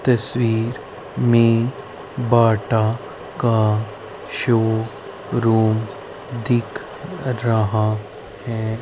तस्वीर में बाटा का शो रूम दिख रहा है।